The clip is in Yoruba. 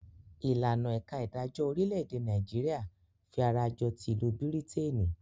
Ìlànà ẹ̀ka idajọ́ orílẹ̀-èdè Nàìjíríà fí ará jọ tí ìlú Bírítènì.